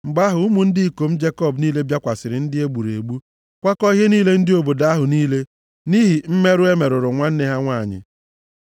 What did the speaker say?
Mgbe ahụ ụmụ ndị ikom Jekọb niile bịakwasịrị ndị a e gburu egbu, kwakọọ ihe niile dị nʼobodo ahụ niile, nʼihi mmerụ e merụrụ nwanne ha nwanyị.